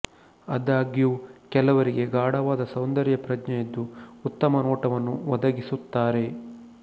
ಆದಾಗ್ಯೂ ಕೆಲವರಿಗೆ ಗಾಢವಾದ ಸೌಂದರ್ಯ ಪ್ರಜ್ಞೆಯಿದ್ದು ಉತ್ತಮ ನೋಟವನ್ನು ಒದಗಿಸುತ್ತಾರೆ